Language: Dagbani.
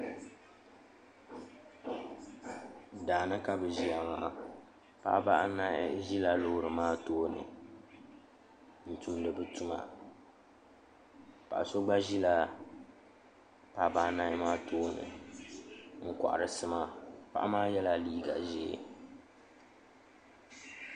Daani ka bi ʒiya maa paɣaba anahi ʒila loori maa tooni n tumdi bi tuma paɣa so gba ʒila paɣaba anahi maa tooni n kohari sima paɣa maa yɛla liiga ʒiɛ